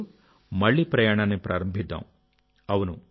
2022లో మళ్లీ ప్రయాణాన్ని ప్రారంభిద్దాం